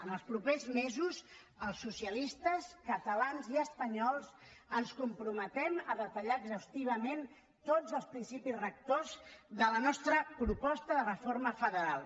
en els propers mesos els socialistes catalans i espanyols ens comprometem a detallar exhaustivament tots els principis rectors de la nostra proposta de reforma federal